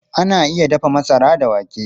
Ana iya dafa masara da wake.